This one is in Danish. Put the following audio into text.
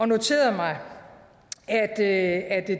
noterede mig at